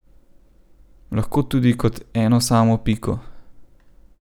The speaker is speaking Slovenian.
Lahko tudi kot eno samo piko.